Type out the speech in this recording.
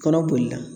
Kɔnɔ bolila